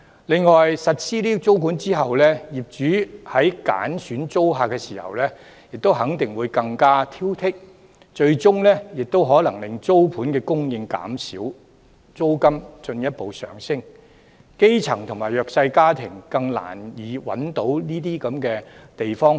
另外，實施租管後，業主在揀選租客的時候，肯定會更加挑剔，最終亦可能令租盤供應減少，帶動租金進一步上升，基層及弱勢家庭因而更難找到合適的居所。